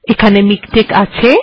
এখানে এটি আছে